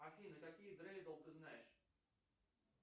афина какие дрейдл ты знаешь